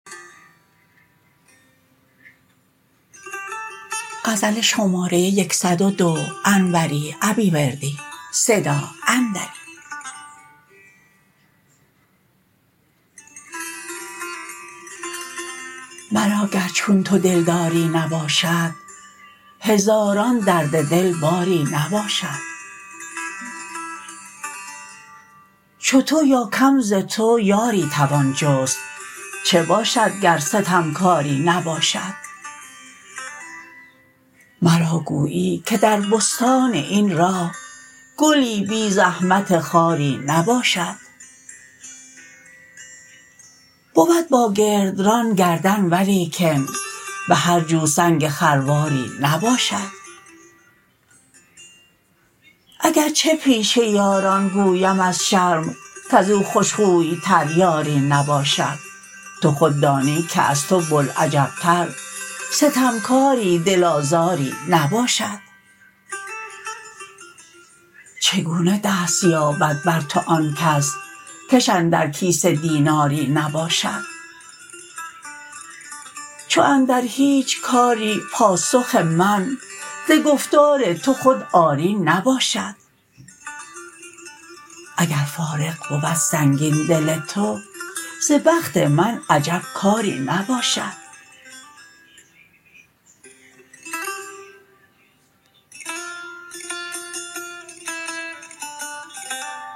مرا گر چون تو دلداری نباشد هزاران درد دل باری نباشد چو تو یا کم ز تو یاری توان جست چه باشد گر ستمکاری نباشد مرا گویی که در بستان این راه گلی بی زحمت خاری نباشد بود با گرد ران گردن ولیکن به هرجو سنگ خرواری نباشد اگرچه پیش یاران گویم از شرم کزو خوش خوی تر یاری نباشد تو خود دانی که از تو بوالعجب تر ستمکاری دل آزاری نباشد چگونه دست یابد بر تو آن کس کش اندر کیسه دیناری نباشد چو اندر هیچ کاری پاسخ من ز گفتار تو خود آری نباشد اگر فارغ بود سنگین دل تو ز بخت من عجب کاری نباشد